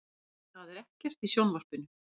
Það er ekkert í sjónvarpinu.